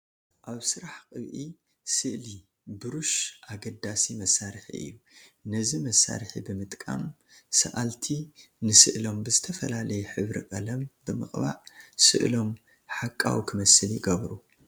ኣብ ስራሕ ቅብኢ ስእሊ ብሩሽ ኣገዳሲ መሳርሒ እዩ፡፡ ነዚ መሳርሒ ብምጥቃም ሰኣልቲ ንስእሎም ብዝተፈላለየ ሕብረ ቀለም ብምቕባእ ስእሎም ሓቃዊ ክመስል ይገብሩ፡፡